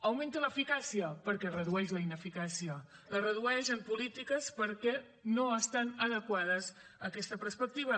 augmenta l’eficàcia perquè redueix la ineficàcia la redueix en polítiques perquè no estan adequades a aquesta perspectiva